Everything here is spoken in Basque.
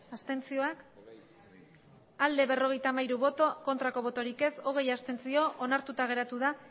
abstentzioa berrogeita hamairu bai hogei abstentzio onartuta geratu da